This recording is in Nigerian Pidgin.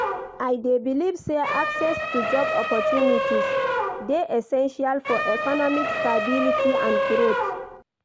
I dey believe say access to job opportunities dey essential for economic stability and growth.